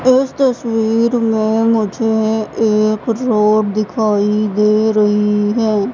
इस तस्वीर में मुझे एक रोड दिखाई दे रही है।